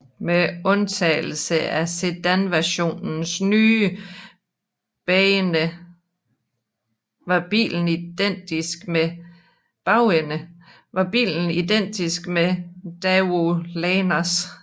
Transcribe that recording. Med undtagelse af sedanversionens nye bagende var bilen identisk med Daewoo Lanos